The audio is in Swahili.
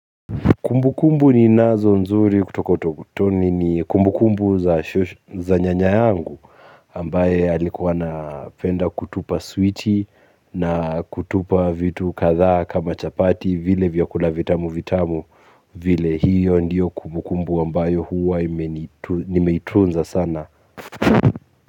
Kumbukumbu ninazo nzuri kutoka utotoni ni kumbukumbu za nyanya yangu ambaye alikuwa anapenda kutupa switi na kutupa vitu kadhaa kama chapati vile vyakula vitamu vitamu vile hiyo ndio kumbukumbu ambayo huwa nimetunza sana.